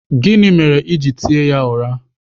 Gịnị mere i ji tie ya ụra?